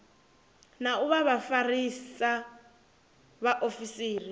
na u vha vhafarisa vhaofisiri